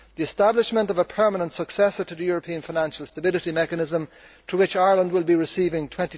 With the establishment of a permanent successor to the European Financial Stability Mechanism, from which Ireland will be receiving EUR